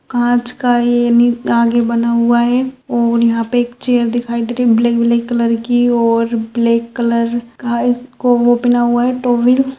काँच का ए नि आगे बना हुआ है और यहाँ पर एक चेयर दिखाई दे रही है ब्लैक ब्लैक कलर की और ब्लैक कलर का इसका ओ पहना हुआ है टॉवल ।